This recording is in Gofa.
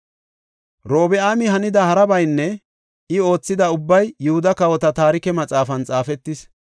Robi7aami hanida harabaynne I oothida ubbay Yihuda kawota Taarike Maxaafan xaafetis.